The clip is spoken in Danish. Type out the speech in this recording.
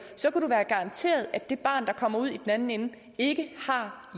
så kan du garantere at det barn der kommer ud i den anden ende ikke har